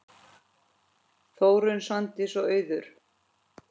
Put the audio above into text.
Þórunn, Svandís og Auður.